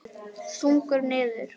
Þungur niður.